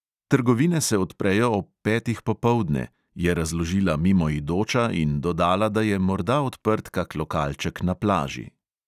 "Trgovine se odprejo ob petih popoldne," je razložila mimoidoča in dodala, da je morda odprt kak lokalček na plaži.